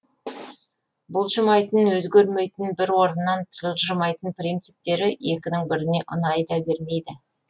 бұлжымайтын өзгермейтін бір орнынан жылжымайтын принциптері екінің біріне ұнай да бермейді